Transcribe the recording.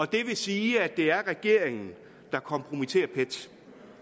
det vil sige at det er regeringen der kompromitterer pet